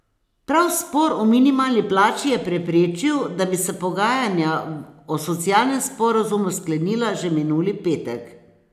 Prav spor o minimalni plači je preprečil, da bi se pogajanja o socialnem sporazumu sklenila že minuli petek.